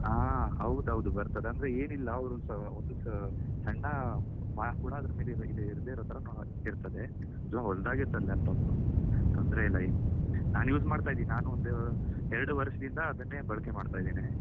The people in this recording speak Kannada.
ಹಾ ಹೌದೌದು ಬರ್ತದೇ ಅಂದ್ರೆ ಏನಿಲ್ಲ ಅವರು ಓ ಒಂದು ಸಾ ಸಣ್ಣ mark ಕೂಡ ಅದ್ರ ಮೇಲೆ ಇಲ್ದೆ ಇರೋ ತರಾ ಇರ್ತದೆ ತುಂಬ ಒಳ್ಳೇದಾಗಿರ್ತದೆ laptop ತೊಂದ್ರೆ ಇಲ್ಲ ಇನ್ನು, ನಾನ್ use ಮಾಡ್ತಾ ಇದ್ದೇನೆ ಒಂದು ಎರಡು ವರ್ಷದಿಂದ ಅದನ್ನೇ ಬಳಕೆ ಮಾಡ್ತಾ ಇದ್ದೇನೆ.